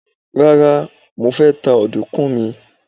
Rá́rá, mo ta ọ̀dùnkún mi.